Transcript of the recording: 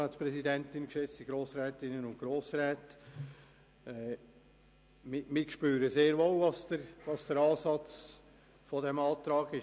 Wir spüren den Ansatz dieses von Grossrat Wüthrich vorgestellten Antrags.